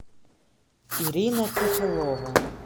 ирина фифелова